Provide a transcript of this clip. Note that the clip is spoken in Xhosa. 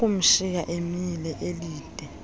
ukumshiya emile elinde